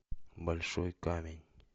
большой камень